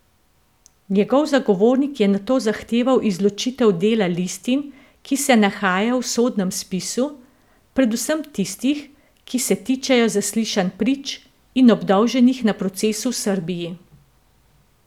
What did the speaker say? Njegov zagovornik je nato zahteval izločitev dela listin, ki se nahajajo v sodnem spisu, predvsem tistih, ki se tičejo zaslišanj prič in obdolženih na procesu v Srbiji.